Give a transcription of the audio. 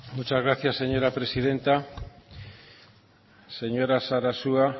muchas gracias señora presidenta señora sarasua